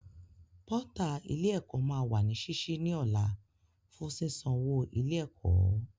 Pọ́tà ilé ẹ̀kọ́ máa wà ní sísí ní ọ̀la fún sísan owó ilé ẹ̀kọ́